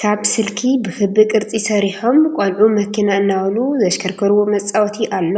ካብ ስልኪ ብኽቢ ቅርፂ ሰሪሖም ቆልዑ መኪና እናበሉ ዘሽከርክርዎ መፃወቲ ኣሎ፡፡